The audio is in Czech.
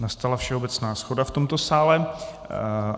Nastala všeobecná shoda v tomto sále.